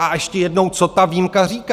A ještě jednou, co ta výjimka říká?